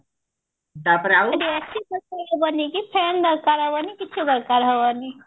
ସେଠି AC ଦରକାର ହବନି କି fan ଦରକାର ହବନି କିଛି ଦରକାର ହବନି